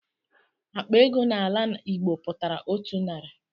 Akpa ego n'ala Igbo pụtara otu narị.